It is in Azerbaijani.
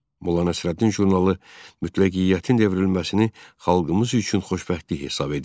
Molla Nəsrəddin jurnalı mütləqiyyətin devrilməsini xalqımız üçün xoşbəxtlik hesab edirdi.